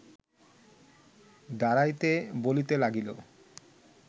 দাঁড়াইতে বলিতে লাগিল